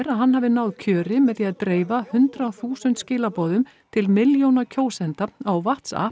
að hann hafi náð kjöri með því að dreifa hundrað þúsund skilaboðum til milljóna kjósenda á